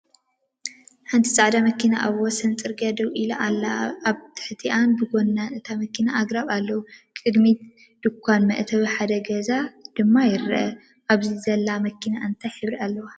ሓንቲ ጻዕዳ መኪና ኣብ ወሰን ጽርግያ ደው ኢላ ኣላ። ኣብ ታሕቲን ብጎኒን እታ መኪና ኣግራብ ኣለዉ፣ ቅድሚት ድኳንን መእተዊ ሓደ ገዛን ድማ ይርአ። ኣብዚ ዘላ መኪና እንታይ ሕብሪ ኣለዋ?